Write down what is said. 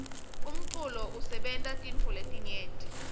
umculo usebenta tintfo letinyenti